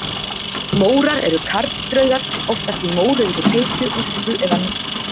Mórar eru karldraugar, oftast í mórauðri peysu, úlpu eða mussu.